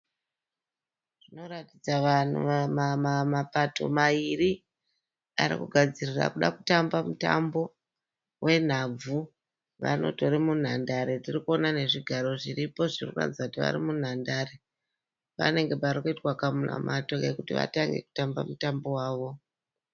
Zvinoratidza mapato maviri ari kugadzirira kuda kutamba mutambo wenhabvu vanotori munhandare tiri kuona nezvigaro zviripo zviri kuratidza kuti vari munhandare panenge pari kuitwa kamunamato kekuti vatange kutamba mutambo wavo.